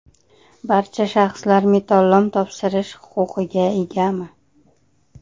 Barcha shaxslar metallolom topshirish huquqiga egami?